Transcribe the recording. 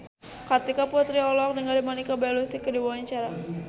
Kartika Putri olohok ningali Monica Belluci keur diwawancara